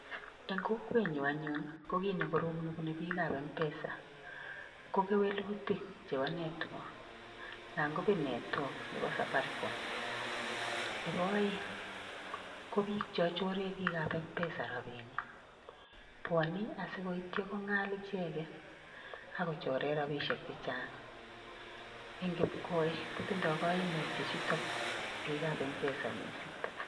Eng'kokwetnyu anyun ko kit nekorom nebune biik ap mpesa ko kewelutik chebo network nangobet network nebo Safaricom, nebo aeng' ko biik cha choree bik ap Mpesa rabinik bwoni asikoityo kong'al icheget akochoree rabisiek chechang' ing' kipkoe kotindoi kaimutik chuutok biik ap Mpesa miising'